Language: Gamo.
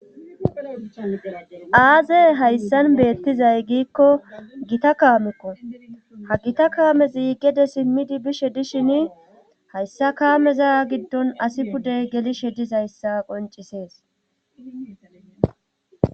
aazey hayssan beettizay giikko gita kaamekko ha gita kaamezi gede simmidi bishe dishin hayssa kaameza giddon asi pudey gelishe dizayssa qoncisees